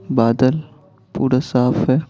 बादल पूरा साफ है।